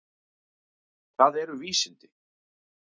Hvað eru vísindi?